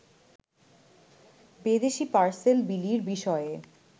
বিদেশী পার্সেল বিলির বিষয়ে